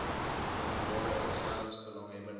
openbare instellings belanghebbende